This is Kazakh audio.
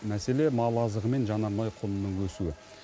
мәселе мал азығы мен жанармай құнының өсуі